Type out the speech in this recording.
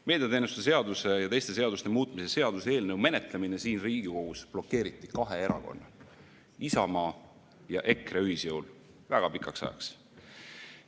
Meediateenuste seaduse ja teiste seaduste muutmise seaduse eelnõu menetlemine siin Riigikogus blokeeriti kahe erakonna, Isamaa ja EKRE ühisjõul väga pikaks ajaks.